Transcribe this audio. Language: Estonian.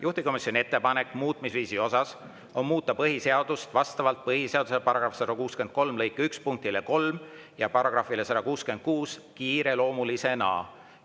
Juhtivkomisjoni ettepanek muutmisviisi kohta on muuta põhiseadust vastavalt põhiseaduse § 163 lõike 1 punktile 3 ja §‑le 166 kiireloomulisena.